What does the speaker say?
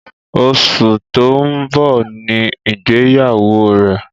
Oṣù tó ń bọ̀ Ni ìgbéyàwó rẹ̀.